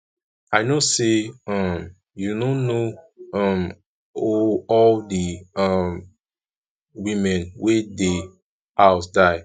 i no know say um you no know um ooo all the um women wey dey house die